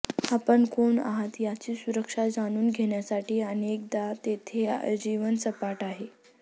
आपण कोण आहात याची सुरक्षा जाणून घेण्यासाठी अनेकदा तेथे आजीवन सपाटा आहे